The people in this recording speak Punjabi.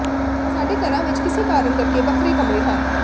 ਸਾਡੇ ਘਰਾਂ ਵਿੱਚ ਕਿਸੇ ਕਾਰਨ ਕਰਕੇ ਵੱਖਰੇ ਕਮਰੇ ਹਨ